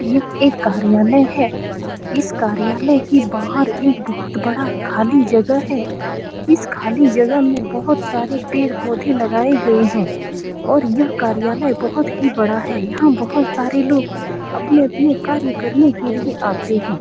यह एक कार्यालय है। इस कार्यालय के बहार एक बोहोत बड़ा खली जगह है। इस खाली जगह में बोहोत सारे पेड़-पोधे लगाए हुए है। और यह कार्यालय बोहोत ही बड़ा है। और यहाँ बोहोत सारे लोग अपने -अपने कार्य करने के लिए आते है।